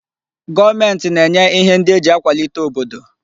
Goomenti na-enye ihe ndi eji akwalite obodo